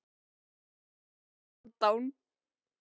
Þú stendur þig vel, Hálfdán!